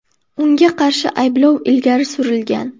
Unga qarshi ayblov ilgari surilgan.